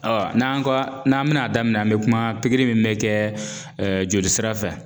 Awa n'an kɔ n'an bɛ n'a daminɛ an bɛ kuma pikiri nin ne cɛɛ joli sira fɛ